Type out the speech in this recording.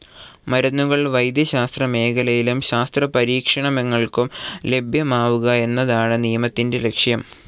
മരുന്നുകൾ വൈദ്യശാസ്ത്രമേഖലയിലും ശാസ്ത്രപരീക്ഷണങ്ങൾക്കും ലഭ്യമാവുക എന്നതാണ് നിയമത്തിൻ്റെ ലക്ഷ്യം.